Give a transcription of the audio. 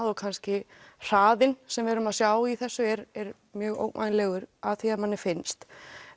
og kannski hraðinn sem við erum að sjá í þessu er er mjög ógnvænlegur að því er manni finnst